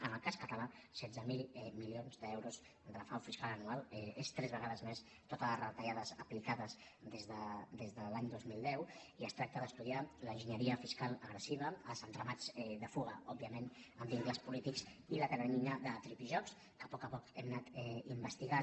en el cas català setze mil milions d’euros de frau fiscal anual és tres vegades més totes les retallades aplicades des de l’any dos mil deu i es tracta d’estudiar l’enginyeria fiscal agressiva els entramats de fuga òbviament amb vincles polítics i la teranyina de tripijocs que a poc a poc hem anat investigant